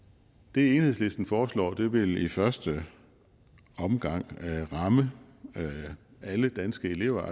det enhedslisten foreslår vil i første omgang ramme alle danske elever